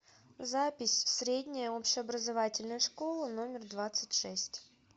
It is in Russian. запись средняя общеобразовательная школа номер двадцать шесть